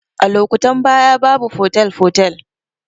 A lokutan baya babu fotel fotel